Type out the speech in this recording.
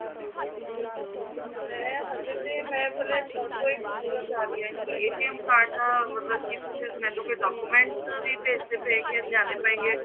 ਮੈਂ ਹਜੇ ਤੇ ਮੈਂ ਆਪਣੇ document ਪੁੱਛਨਾ ਚਾਹ ਰਹੀ ਹਾਂ ਕਿ card ਦਾ ਮਤਲਬ ਕਿ ਮੈਨੂੰ ਕੋਈ documentਸ ਵੀ ਭੇਜਨੇ ਪੈਣਗੇ ਲਿਆਣੇ ਪਏਨਗੇ